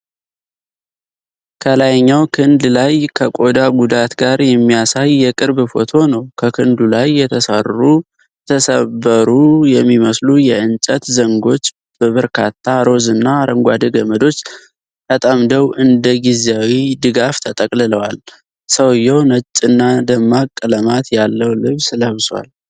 ከላይኛው ክንድ ላይ ከቆዳ ጉዳት ጋር የሚያሳይ የቅርብ ፎቶ ነው። በክንዱ ላይ የተሰበሩ የሚመስሉ የእንጨት ዘንጎች በበርካታ ሮዝ እና አረንጓዴ ገመዶች ተጠምደው እንደ ጊዜያዊ ድጋፍ ተጠቅልለዋል። ሰውዬው ነጭና ደማቅ ቀለማት ያለው ልብስ ለብሷል።